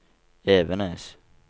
Evenes